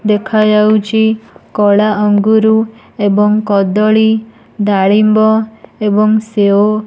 ଦେଖାଯାଉଚି କଳା ଅଙ୍ଗୁରୁ ଏବଂ କଦଳୀ ଡାଳିମ୍ବ ଏବଂ ସେଓ।